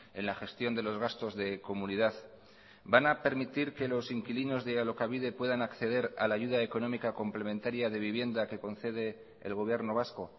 en la gestión de los gastos de comunidad van a permitir que los inquilinos de alokabide puedan acceder a la ayuda económica complementaria de vivienda que concede el gobierno vasco